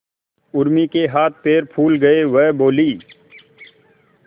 उर्मी के हाथ पैर फूल गए वह बोली